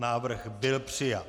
Návrh byl přijat.